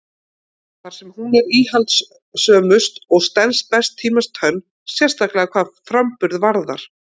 Þar er hún íhaldssömust og stenst best tímans tönn, sérstaklega hvað framburð varðar.